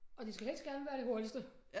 Og det skal helst gerne være det hurtigste